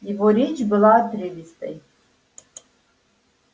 его речь была отрывистой